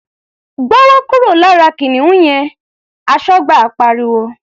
"Gbọ́wọ́ kúrò lára kìnìún yẹn!", Aṣọ́gbà pariwo.